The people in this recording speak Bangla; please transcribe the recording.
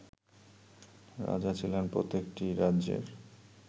রাজা ছিলেন প্রত্যেকটি রাজ্যের